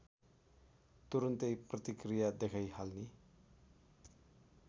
तुरुन्तै प्रतिक्रिया देखाइहाल्ने